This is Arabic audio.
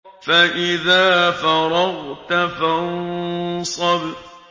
فَإِذَا فَرَغْتَ فَانصَبْ